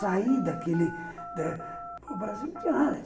sair daquele... O Brasil não tinha nada.